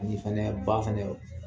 Ani fana ba fana